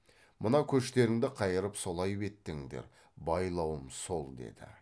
мына көштеріңді қайырып солай беттеңдер байлауым сол деді